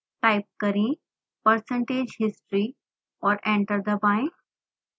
type करें percentage history और enter दबाएं